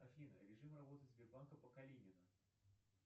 афина режим работы сбербанка по калинина